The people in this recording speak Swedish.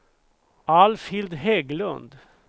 Alfhild Hägglund